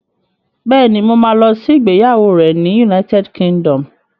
Bẹ́ẹ̀ni, mo ma lọ sí ìgbéyàwó rẹ̀ ní United Kingdom